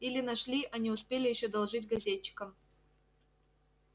или нашли а успели ещё доложить газетчикам